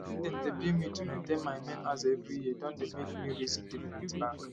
wetin dem dey bill me to maintain my main aza every year don dey make me reason different bank